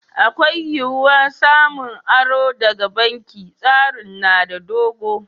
Akwai wiyya samun aro daga banki. Tsarin na da dogo.